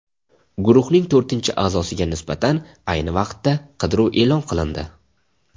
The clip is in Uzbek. Guruhning to‘rtinchi a’zosiga nisbatan ayni vaqtda qidiruv e’lon qilindi .